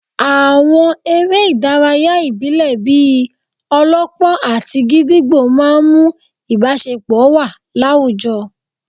Àwọn eré ìdárayá ìbílẹ̀ bíi -ọlọ́pọ́n àti gídígbò máà ń mú ìbáṣepọ̀ wà láwùjọ